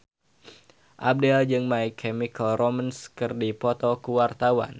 Abdel jeung My Chemical Romance keur dipoto ku wartawan